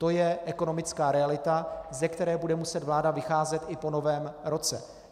To je ekonomická realita, ze které bude muset vláda vycházet i po Novém roce.